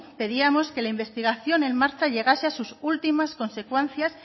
pedíamos que la investigación en marcha llegase a sus últimas consecuencias